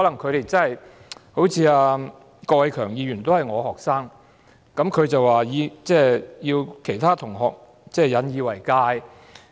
郭偉强議員也是我的學生，他提到其他同學要引以為鑒。